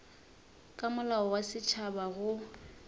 ka molao wa setšhaba go